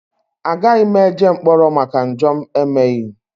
Agaghị m eje mkpọrọ maka njọ m emeghị.